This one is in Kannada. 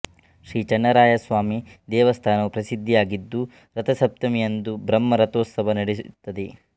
ಶ್ರೀ ಚನ್ನರಾಯಸ್ವಾಮಿ ದೇವಾಸ್ತನವು ಪ್ರಸಿದ್ಧಿಯಾಗಿದ್ದು ರಥಸಪ್ತಮಿ ಯಂದು ಬ್ರಹ್ಮ ರಥೋತ್ಸವ ನಡೆಯುತ್ತದೆ